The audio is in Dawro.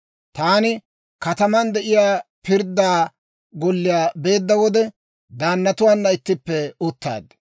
«Taani kataman de'iyaa pirdda golliyaa beedda wode, daannatuwaana ittippe uttaad.